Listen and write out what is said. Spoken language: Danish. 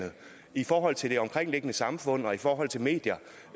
i forhold til det omkringliggende samfund og i forhold til medierne